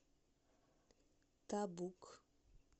табук